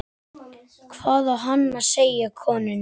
Hvað á hann að segja konunni?